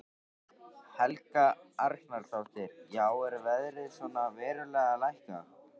Helga Arnardóttir: Já er verðið svona verulega lækkað?